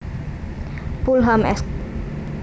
Pulham Esq